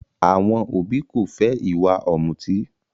Àwọn òbí ko fẹ ìwà ọ̀mùtí.